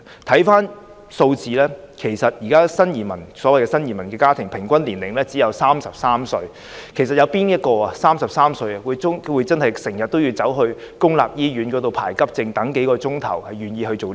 從數字上看，現時的新移民家庭的平均年齡只有33歲，試問有誰會在33歲便經常出入公立醫院輪候急症，等候數小時呢？